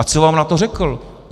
A co vám na to řekl?